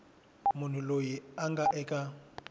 munhu loyi a nga eka